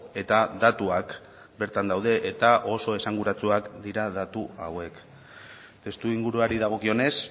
eta datuak bertan daude eta oso esanguratsuak dira datu hauek testuinguruari dagokionez